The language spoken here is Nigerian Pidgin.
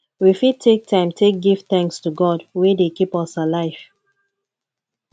we fit take time take give thanks to god wey dey keep us alive